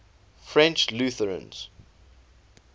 french lutherans